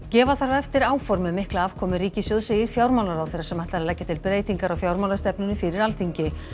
gefa þarf eftir áform um mikla afkomu ríkissjóðs segir fjármálaráðherra sem ætlar að leggja til breytingar á fjármálastefnunni fyrir Alþingi